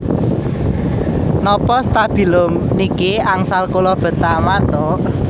Nopo stabilo niki angsal kula beta mantuk